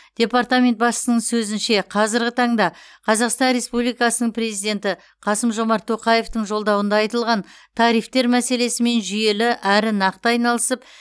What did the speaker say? департамент басшысының сөзінше қазіргі таңда қазақстан республикасының президенті қасым жомарт тоқаевтың жолдауында айтылған тарифтер мәселесімен жүйелі әрі нақты айналысып